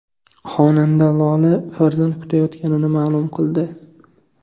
Xonanda Lola farzand kutayotganini ma’lum qildi.